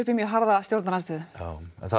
mjög harða stjórnarandstöðu já